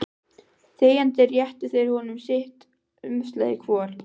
Þegjandi réttu þeir honum sitt umslagið hvor.